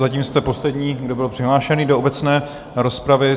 Zatím jste poslední, kdo byl přihlášený do obecné rozpravy.